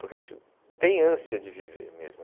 Porque a gente tem ânsia de viver mesmo.